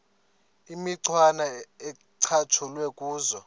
imicwana ecatshulwe kuzo